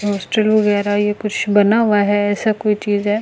Hostel वगैरा ये कुछ बना हुआ हे ऐसा कोई चीज हे।